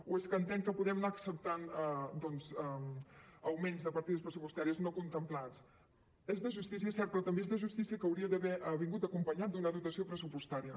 o és que entén que podem anar acceptant doncs augments de partides pressupostàries no contemplats és de justícia és cert però també és de justícia que hauria d’haver vingut acompanyat d’una dotació pressupostària